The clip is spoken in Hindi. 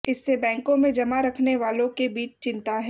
इससे बैंकों में जमा रखने वालों के बीच चिंता है